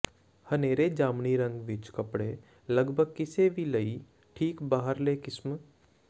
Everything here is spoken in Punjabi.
ਹਨੇਰੇ ਜਾਮਨੀ ਰੰਗ ਵਿੱਚ ਕੱਪੜੇ ਲਗਭਗ ਕਿਸੇ ਵੀ ਲਈ ਠੀਕ ਬਾਹਰਲੇ ਕਿਸਮ